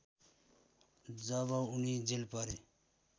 जब उनी जेल परे